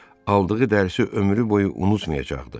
Aldığı dərsi ömrü boyu unutmayacaqdı.